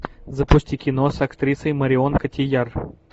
запусти кино с актрисой марион котийяр